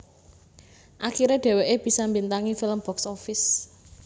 Akiré dheweké bisa mbintangi film box office